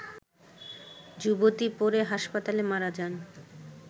যুবতী পরে হাসপাতালে মারা যান